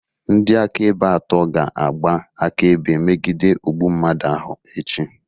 Ndị akaebe atọ ga-agba akaebe megide ogbu mmadụ ahụ echi